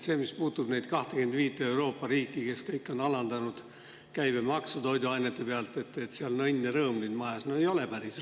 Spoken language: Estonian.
See, mis puutub neid 25 Euroopa riiki, kes kõik on alandanud käibemaksu toiduainete pealt, et seal on õnn ja rõõm nüüd majas – no ei ole päris.